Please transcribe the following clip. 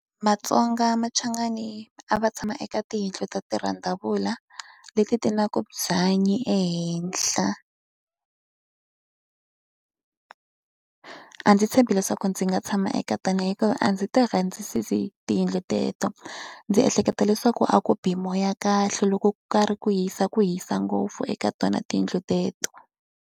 VaTsonga machangani a va tshama eka tiyindlu ta tirhandzavula, leti ti nga na byanyi ehenhla A ndzi tshembi leswaku ndzi nga tshama eka tona hikuva a ndzi ti rhandzisisi tiyindlo teleto. Ndzi ehleketa leswaku a ku bi hi moya kahle, loko ku karhi ku hisa, ku hisa ngopfu eka tona tiyindlo teleto.